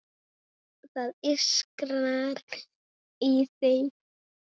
Það ískrar í þeim.